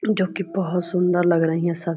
जो की बहो सुन्दर लग रही हैं सब।